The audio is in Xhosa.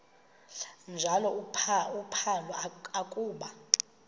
njalo uphalo akuba